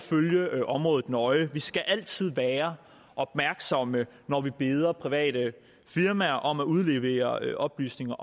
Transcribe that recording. følge området nøje vi skal altid være opmærksomme når vi beder private firmaer om at udlevere oplysninger